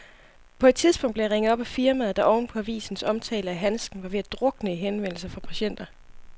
På et tidspunkt blev jeg ringet op af firmaet, der oven på avisens omtale af handsken var ved at drukne i henvendelser fra patienter.